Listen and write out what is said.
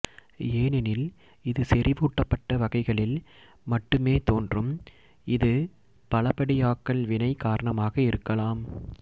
ஏனெனில் இது செறிவூட்டப்பட்ட வகைகளில் மட்டுமே தோன்றும் இது பலபடியாக்கல் வினை காரணமாக இருக்கலாம்